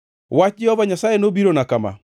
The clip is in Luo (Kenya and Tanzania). Wach Jehova Nyasaye nobirona kama: